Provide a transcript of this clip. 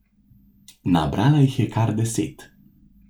Nabrala jih je kar deset.